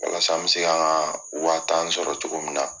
Walasa an bɛ se kan ka waa tan sɔrɔ cogo min na